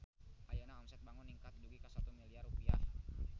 Ayeuna omset Bango ningkat dugi ka 1 miliar rupiah